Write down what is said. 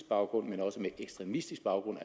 baggrund men også med ekstremistisk baggrund